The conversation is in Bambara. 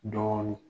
Dɔɔnin